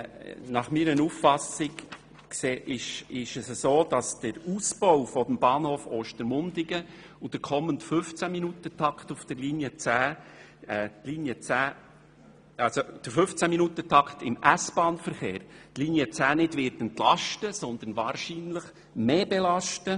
Meiner Auffassung nach wird die Linie 10 durch den Ausbau des Bahnhofs Ostermundigen und den kommenden 15-Minuten-Takt im S-Bahnverkehr nicht entlastet, sondern wahrscheinlich mehr belastet.